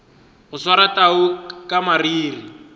go swara tau ka mariri